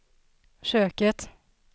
köket